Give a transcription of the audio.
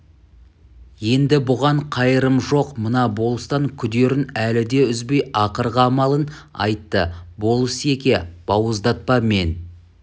енді бұған қайырым жоқ мына болыстан күдерін әлі де үзбей ақырғы амалын айтты болыс-еке бауыздатпа мен